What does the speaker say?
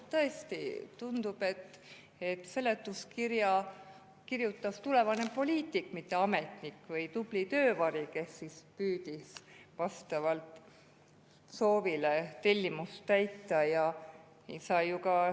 " Tõesti tundub, et seletuskirja kirjutas tulevane poliitik, mitte ametnik, või tubli töövari, kes püüdis vastavalt soovile tellimust täita.